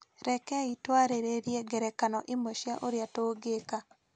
Rekei twarĩrĩrie ngerekano imwe cia ũrĩa tũngĩka.